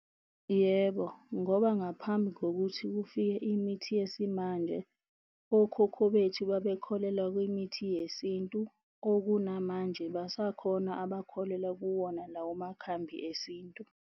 Yebo, ngoba ngaphambi kokuthi kufike imithi yesimanje okhokho bethu, babekholelwa kwimithi yesintu okunamanje basakhona abakholelwa kuwona lawo makhambi esintu.